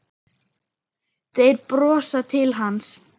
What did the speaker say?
Þeir brosa til hans.